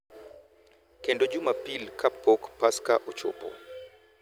Kendo jumapil kapok Paska ochopo, .